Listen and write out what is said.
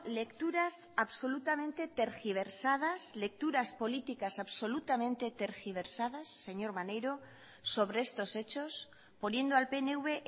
lecturas absolutamente tergiversadas lecturas políticas absolutamente tergiversadas señor maneiro sobre estos hechos poniendo al pnv